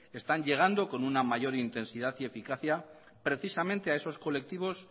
están llegando con una mayor intensidad y eficacia precisamente a esos colectivos